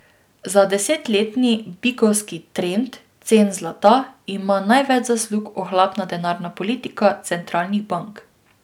Za desetletni bikovski trend cen zlata ima največ zaslug ohlapna denarna politika centralnih bank.